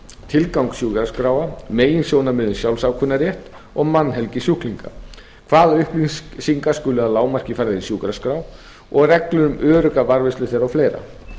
tilgang sjúkraskráa meginsjónarmiða um sjálfsákvörðunarrétt og mannhelgi sjúklinga hvaða upplýsingar skulu að lágmarki færðar í sjúkraskrá og reglur um örugga varðveislu þeirra og fleira